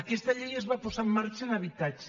aquesta llei es va posar en marxa a habitatge